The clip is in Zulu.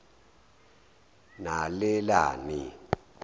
nalelani